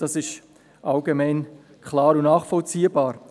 das ist allgemein bekannt und nachvollziehbar.